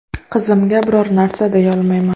Qizimga biror narsa deyolmayman.